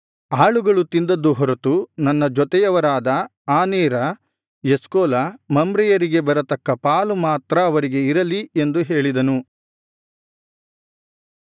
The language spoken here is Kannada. ಆಳುಗಳು ತಿಂದದ್ದು ಹೊರತು ನನ್ನ ಜೊತೆಯವರಾದ ಆನೇರ ಎಷ್ಕೋಲ ಮಮ್ರೆಯರಿಗೆ ಬರತಕ್ಕ ಪಾಲು ಮಾತ್ರ ಅವರಿಗೆ ಇರಲಿ ಎಂದು ಹೇಳಿದನು